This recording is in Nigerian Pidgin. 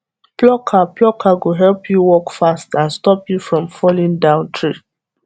plucker plucker go help you work fast and stop you from falling down tree